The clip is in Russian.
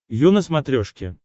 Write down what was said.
ю на смотрешке